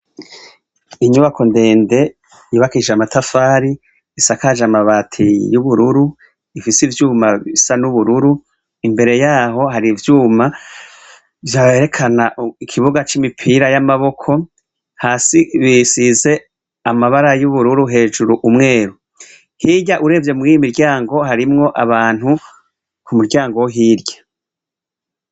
Inyubako ndende yibakije amatafari isakaje amabati y'ubururu ifise ivyuma bisa n'ubururu imbere yaho hari ivyuma vyaberekanaikibuga c'imipira y'amaboko hasi bisize amabara y'ubururu hejuru umweru hirya urevye mwiiy'imiryango harimwo abantu ku muryango wo hirya.